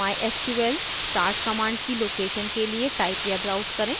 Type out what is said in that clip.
mysql start command की location के लिए type या browse करें